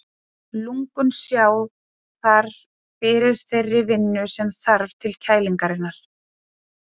Lungun sjá þar fyrir þeirri vinnu sem þarf til kælingarinnar.